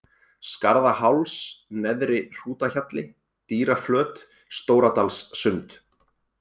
Skarðaháls, Neðri-Hrútahjalli, Dýraflöt, Stóradalssund